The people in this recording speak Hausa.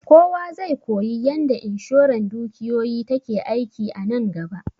Kowa zai koyi yanda inshoran dukiyoyi take aiki a nan gaba